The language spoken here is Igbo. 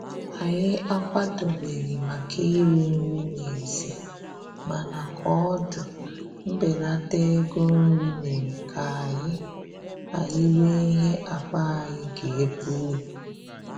Anyị akwadobeghị maka iri nri n'èzí, mana koodu mbelata ego nri mere ka anyị anyị rie ihe akpa anyị ga-ebuli